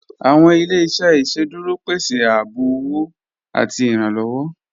Awọn ilẹ̀-iṣẹ̀ iṣẹ́dúró pẹ̀sẹ ààbò ọwọ̀ àti ìrànlowọ